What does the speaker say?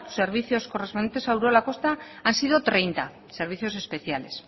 los servicios correspondientes a urola kosta han treinta sido servicios especiales